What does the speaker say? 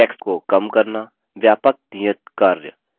व्यापक नियतकार्य